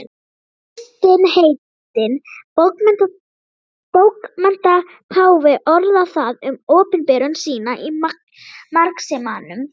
Kristinn heitinn bókmenntapáfi orðaði það um opinberun sína í marxismanum.